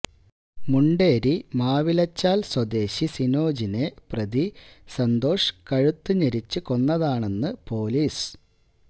മുണ്ടേരി മാവിലച്ചാല് സ്വദേശി സിനോജിനെ പ്രതി സന്തോഷ് കഴുത്ത് ഞെരിച്ച് കൊന്നതാണെന്ന് പൊലീസ്